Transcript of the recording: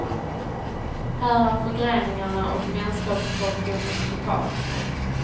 Här är förgreningarna och vänskapskorruptionen total. punkt